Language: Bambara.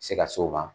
Se ka s'o ma